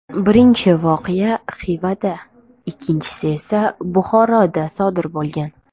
Birinchi voqea Xivada, ikkinchisi esa Buxoroda sodir bo‘lgan.